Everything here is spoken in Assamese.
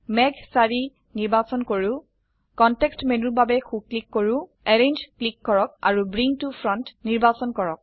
মেঘ ৪ নিৰ্বাচন কৰো কনটেক্সট মেনুৰ বাবে সো ক্লিক কৰো এৰেঞ্জ ক্লিক কৰক আৰু ব্ৰিং ত ফ্ৰণ্ট নিৰ্বাচন কৰক